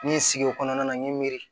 N ye sigi o kɔnɔna na n ye n miiri